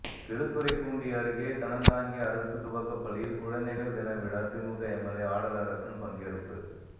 திருத்துறைப்பூண்டி அருகே தனந்தாங்கி அரசு துவக்கப்பள்ளியில் குழந்தைகள் தினவிழா திமுக எம்எல்ஏ ஆடலரசன் பங்கேற்பு